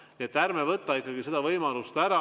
Nii et ärme võtame ikkagi seda võimalust ära.